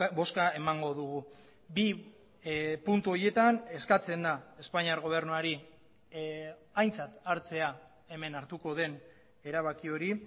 bozka emango dugu bi puntu horietan eskatzen da espainiar gobernuari aintzat hartzea hemen hartuko den erabaki hori